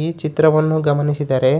ಈ ಚಿತ್ರವನ್ನು ಗಮನಿಸಿದರೆ